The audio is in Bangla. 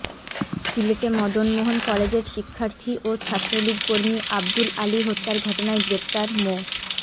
সিলেটে মদনমোহন কলেজের শিক্ষার্থী ও ছাত্রলীগকর্মী আবদুল আলী হত্যার ঘটনায় গ্রেপ্তার মো